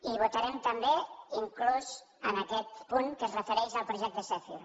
i votarem també inclús aquest punt que es refereix al projecte zèfir